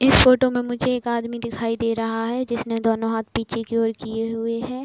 इस फ़ोटो मे मुझे एक आदमी दिखाई दे रहा है जिसने दोनों हाथ पीछे की ओर किए हुए है।